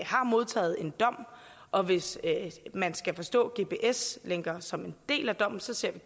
har modtaget en dom og hvis man skal forstå gps lænker som en del af dommen så ser